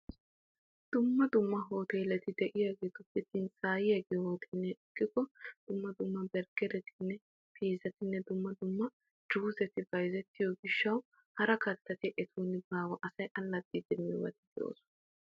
Dumma dumma hoteeleti de"iyaageetuppe tinsaa"iyaa giyo hooteeliya ekkikko dumma dumma berggeretinne piizatinne dumma dumma juuseti bayzettiyo gishshaw hara kattati etun baawa. Asay allaxxiiddi miyoobati de'oosona.